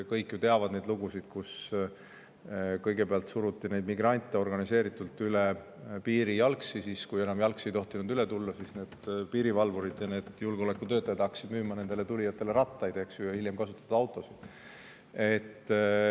Kõik ju teavad neid lugusid, kus kõigepealt suruti organiseeritult neid migrante jalgsi üle piiri, ja siis, kui enam jalgsi ei tohtinud üle tulla, hakkasid piirivalvurid ja julgeolekutöötajad nendele tulijatele müüma rattaid, ja hiljem kasutatud autosid.